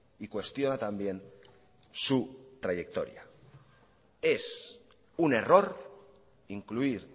y cuestiona también su trayectoria es un error incluir